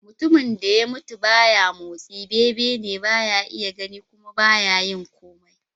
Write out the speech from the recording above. Mutumin da ya mutu ba ya motsi, bebene, ba ya iya gani kuma ba ya yin komai.